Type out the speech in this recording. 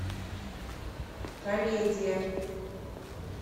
комедия